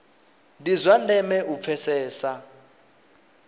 ndi zwa ndeme u pfesesa